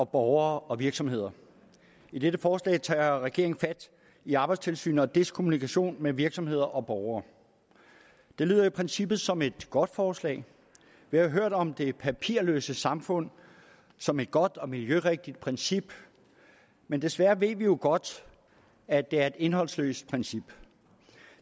borgere og virksomheder i dette forslag tager regeringen fat i arbejdstilsynet og dets kommunikation med virksomheder og borgere det lyder i princippet som et godt forslag vi har hørt om det papirløse samfund som et godt og miljørigtigt princip men desværre ved vi jo godt at det er et indholdsløst princip